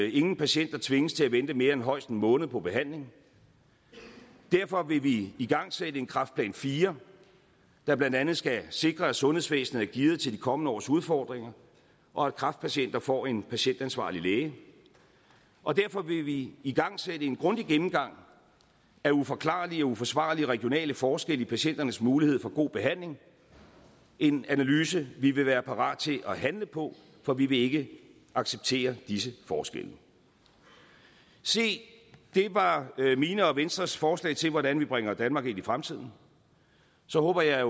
ingen patienter tvinges til at vente mere end højst en måned på behandling derfor vil vi igangsætte en kræftplan iv der blandt andet skal sikre at sundhedsvæsenet er gearet til de kommende års udfordringer og at kræftpatienter får en patientansvarlig læge og derfor vil vi igangsætte en grundig gennemgang af uforklarlige og uforsvarlige regionale forskelle i patienternes mulighed for god behandling en analyse vi vil være parat til at handle på for vi vil ikke acceptere disse forskelle se det var mine og venstres forslag til hvordan vi bringer danmark ind i fremtiden så håber jeg at